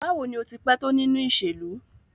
Bawo ni o ti pẹ to ninu iṣelu?